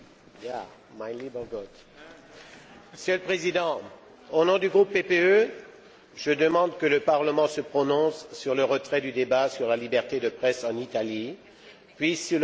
Monsieur le Président, au nom du groupe PPE, je demande que le Parlement se prononce sur le retrait du débat sur la liberté de presse en Italie puis sur le vote d'une résolution sur le même sujet.